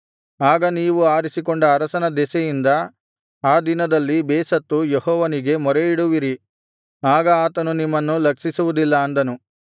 ಆಗ ನೀವು ಆರಿಸಿಕೊಂಡ ಅರಸನ ದೆಸೆಯಿಂದ ಆ ದಿನದಲ್ಲಿ ಬೇಸತ್ತು ಯೆಹೋವನಿಗೆ ಮೊರೆಯಿಡುವಿರಿ ಆಗ ಆತನು ನಿಮ್ಮನ್ನು ಲಕ್ಷಿಸುವುದಿಲ್ಲ ಅಂದನು